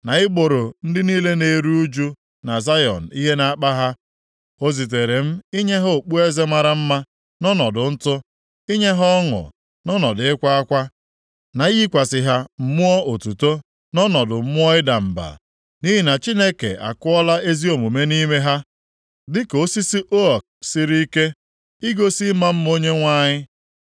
na igboro ndị niile na-eru ụjụ na Zayọn ihe na-akpa ha. O zitere m inye ha okpueze mara mma nʼọnọdụ ntụ, inye ha ọṅụ, nʼọnọdụ ịkwa akwa, na iyikwasị ha mmụọ otuto nʼọnọdụ mmụọ ịda mba. Nʼihi na Chineke akụọla ezi omume nʼime ha, dịka osisi ook siri ike, igosi ịma mma Onyenwe anyị.